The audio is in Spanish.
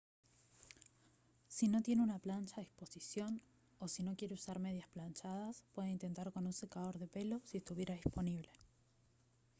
si no tiene una plancha a disposición o si no quiere usar medias planchadas puede intentar con un secador de pelo si estuviera disponible